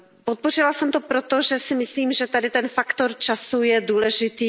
Podpořila jsem to proto, protože si myslím, že tady ten faktor času je důležitý.